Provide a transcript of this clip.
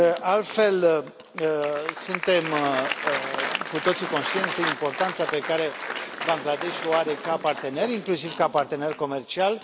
Altfel, suntem cu toții conștienți de importanța pe care Bangladesh o are ca partener, inclusiv ca partener comercial.